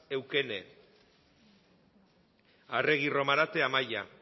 eukene arregi romarate amaia